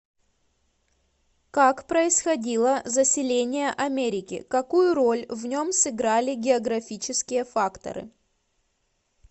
как происходило заселение америки какую роль в нем сыграли географические факторы